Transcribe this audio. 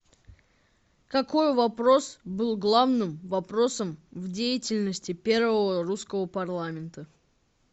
какой вопрос был главным вопросом в деятельности первого русского парламента